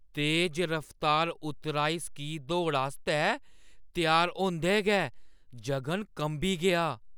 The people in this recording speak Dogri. तेज रफ्तार उतराई स्की दौड़ आस्तै त्यार होंदे गै जगन कंबी गेआ ।